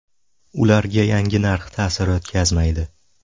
Ularga yangi narx ta’sir o‘tkazmaydi”.